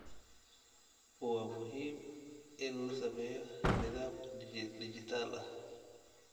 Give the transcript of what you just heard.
Waa muhiim in la sameeyo nidaam dijital ah.